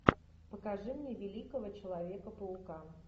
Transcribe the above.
покажи мне великого человека паука